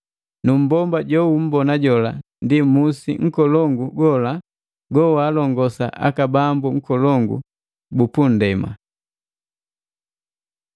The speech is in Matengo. “Nu mbomba joumbona jola ndi musi nkolongu gola gowalongosa aka bambu nkolongu bu pundema.”